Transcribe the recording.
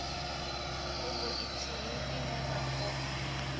fhungo ithihi ine vha o